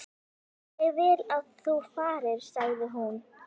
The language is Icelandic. Ég vil að þú farir, sagði hún.